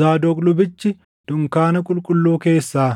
Zaadoq lubichi dunkaana qulqulluu keessaa